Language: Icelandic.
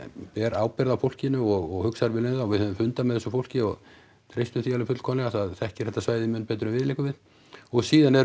ber ábyrgð á fólkinu og hugsar vel um það og við höfum fundað með þessu fólki og treystum því fullkomlega það þekkir þetta svæði mun betur en við liggur við og síðan erum